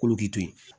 K'olu kito ye